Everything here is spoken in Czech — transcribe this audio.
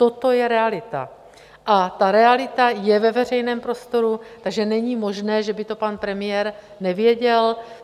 Toto je realita a ta realita je ve veřejném prostoru, takže není možné, že by to pan premiér nevěděl.